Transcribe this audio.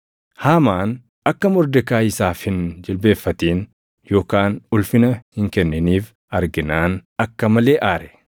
Haamaan akka Mordekaayi isaaf hin jilbeenfatin yookaan ulfina hin kenniniif arginaan akka malee aare.